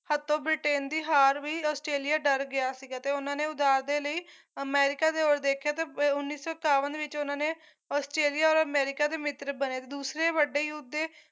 ਹੱਥੋਂ ਬ੍ਰਿਟੇਨ ਦੀ ਹਾਰ ਵੀ ਆਸਟ੍ਰੇਲੀਆ ਡਰ ਗਿਆ ਸੀਗਾ ਤੇ ਉਹਨਾਂ ਨੇ ਉਦਾਰ ਦੇ ਲਈ ਅਮੇਰਿਕਾ ਦੀ ਔਰ ਦੇਖਿਆ ਤੇ ਉੱਨੀ ਸੌ ਸਤਾਵਨ ਵਿੱਚ ਉਹਨਾਂ ਨੇ ਆਸਟ੍ਰੇਲੀਆ ਔਰ ਅਮੇਰਿਕਾ ਦੇ ਮਿੱਤਰ ਬਣੇ ਤੇ ਦੂਸੇ ਵੱਡੇ ਯੁੱਧ ਦੇ